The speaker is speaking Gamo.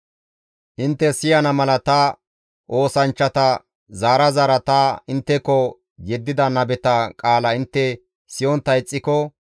intte siyana mala ta oosanchchata zaara zaara ta intteko yeddida nabeta qaala intte siyontta ixxiko,